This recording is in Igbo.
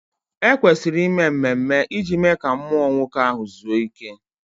E kwesịrị ime mmemme iji mee ka mmụọ nwoke ahụ zuo ike